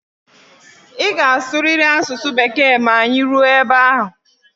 Ị ga-asụrịrị asụsụ Bekee ma anyị ruo ebe ahụ!